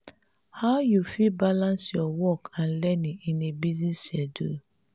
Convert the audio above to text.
how you fit balance your work and learning in a busy schedule?